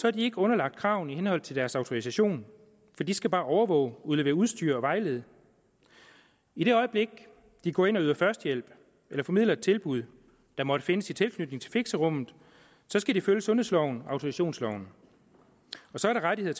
er de ikke underlagt kravene i henhold til deres autorisation for de skal bare overvåge udlevere udstyr og vejlede i det øjeblik de går ind og yder førstehjælp eller formidler et tilbud der måtte findes i tilknytning til fixerummet skal de følge sundhedsloven autorisationsloven og så er der rettigheder